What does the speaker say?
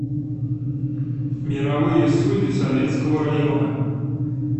мировые судьи советского района